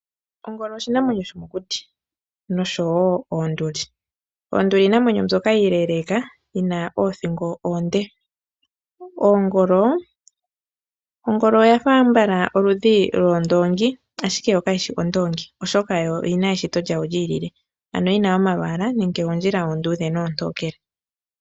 Ongolo oshinamwenyo shomokuti nosho woo oonduli. Oonduli iinamwenyo mbyoka iileleka yina oothingo oonde. Oongolo, ongolo oyafa ambala oludhi lwondoongi ashike yo kayishi ondoongi, oshoka yo oyina eshito lyawo lyii lile. ano yina oma lwaala nenge oondjila oondudhe noontokele.